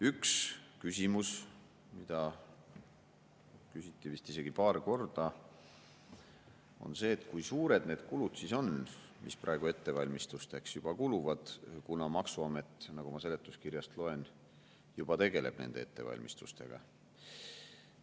Üks küsimus, mida küsiti vist isegi paar korda, on see, et kui suured need kulud on, mis praegu ettevalmistusteks juba kuluvad, kuna maksuamet, nagu ma seletuskirjast loen, juba tegeleb nende ettevalmistustega.